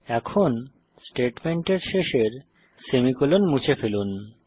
এখন স্টেটমেন্টের শেষের সেমিকোলন মুছে ফেলুন